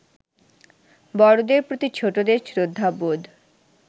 বড়দের প্রতি ছোটদের শ্রদ্ধাবোধ